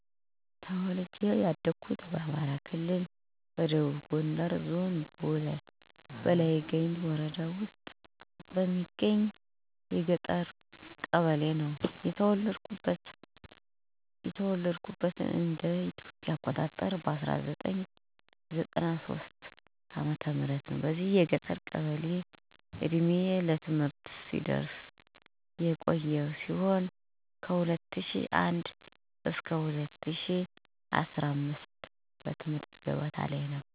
ተወልጄ ያደኩት በአማራ ክልል ደቡብ ጎንደር ዞን በላይ ጋይንት ወረዳ ውስጥ በምትገኝ የገጠር ቀበሌ ነው። የተወለድኩትም እንደ ኢትዮጵያ አቆጣጠር በ1993 ዓ/ም ነው። በዚች የገጠር ቀበሌ እድሜዬ ለትምህርት እስኪደርስ ድረስ የቆየው ሲሆን ከ2001 ዓ/ም ገደማ ጀምሮ ወደ ባህር ዳር ከተማ ከወላጅ አባቴ ጋር መምጣት በመኖር ላይ እገኛለሁ። በልጅነቴ ሁሉንም አይነት ጨዋታዎች ተጫዉቼ ያደኩ ሲሆን ባህር ዳር ከተማ አስከመጣሁበት ጊዜ ድረስ ከእናቴ ቤተሰቦች ጋር ነው የኖርኩት፤ ይህ ማለት ወላጆቼን በእንግድነት ነበር የማቃቸው። በዚህም የተነሳ ለአያቶች ከፍተኛ የሆነ ፍቅር አለኝ።